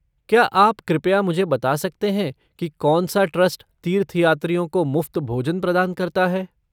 क्या आप कृपया मुझे बता सकते हैं कि कौन सा ट्रस्ट तीर्थयात्रियों को मुफ़्त भोजन प्रदान करता है?